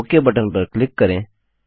okay button पर click करें